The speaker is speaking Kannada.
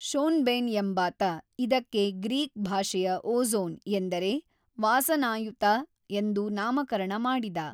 ಷೊನ್ಬೆನ್ ಎಂಬಾತ ಇದಕ್ಕೆ ಗ್ರೀಕ್ ಭಾಷೆಯ ಓಜೋ಼ನ್ ಎಂದರೆ ವಾಸನಾಯುತ ಎಂದು ನಾಮಕರಣ ಮಾಡಿದ.